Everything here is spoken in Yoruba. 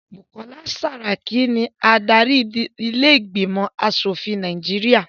Bukola Saraki ni adarí ilé ìgbìmọ̀ aṣòfin tí Nàìjíríà